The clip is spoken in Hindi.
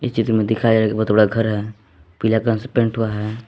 इस चित्र में दिख रहा ये बहोत बड़ा घर है पीला कलन से पेंट हुआ है।